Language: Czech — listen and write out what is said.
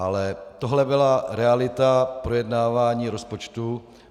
Ale tohle byla realita projednávání rozpočtu.